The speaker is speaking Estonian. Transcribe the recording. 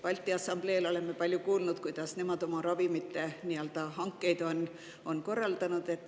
Balti Assambleel oleme palju kuulnud, kuidas nemad oma ravimite hankeid on korraldanud.